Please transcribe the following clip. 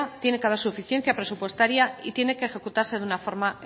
tiene que haber suficiencia presupuestaria y tiene que ejecutarse de una forma